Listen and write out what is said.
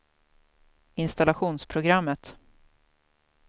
installationsprogrammet